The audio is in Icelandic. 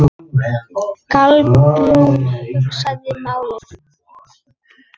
Kolbrún hugsaði málið.